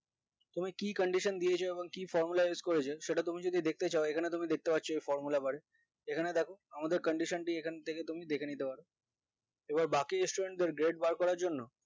তুমি কি condition দিয়েছো এমন কি formula use করেছ সেটা তুমি যদি দেখতে চাও এখানে তুমি দেখতে পাচ্ছ এই formula bar এ এখানে দেখো আমাদের condition টি এখানথেকে তুমি দেখে নিতে পারো এবার বাকি student দেড় grade বার করার জন্য